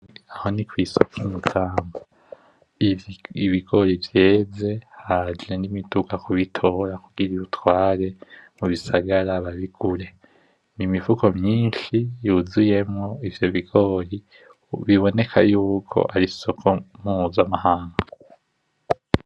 Aho nikw'isoko i Makamba. Iyo ibigori vyeze haje nimiduga kubitora kugira ibitware mubisagara babigure. Nimifuko myinshi yuzuyemwo ivyo bigori, biboneka yuko ari isoko mpuzamahanga.